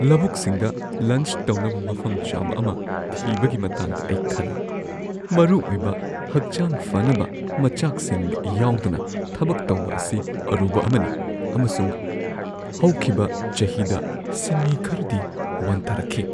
ꯂꯧꯕꯨꯛꯁꯤꯡꯗ lunch ꯇꯧꯅꯕ ꯃꯐꯝ ꯆꯥꯕ ꯑꯃ ꯊꯤꯕꯒꯤ ꯃꯇꯥꯡꯗ ꯑꯩ ꯈꯜꯂꯤ ꯫ ꯃꯔꯨ ꯑꯣꯏꯕ ꯍꯛꯆꯥꯡ ꯐꯅꯕ ꯃꯆꯥꯛꯁꯤꯡ ꯌꯥꯎꯗꯅ ꯊꯕꯛ ꯇꯧꯕ ꯑꯁꯤ ꯑꯔꯨꯕ ꯑꯃꯅꯤ, ꯑꯃꯁꯨꯡ ꯍꯧꯈꯤꯕ ꯆꯍꯤꯗ ꯁꯤꯟꯃꯤ ꯈꯔꯗꯤ ꯋꯥꯟꯊꯔꯛꯈꯤ ꯫